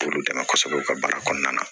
K'olu dɛmɛ kosɛbɛ u ka baara kɔnɔna na